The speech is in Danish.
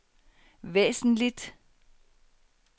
væsentligt